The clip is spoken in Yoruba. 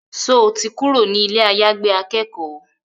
Sọ ti kúrò ní ilé àyàgbé akẹ́kọ̀ọ́?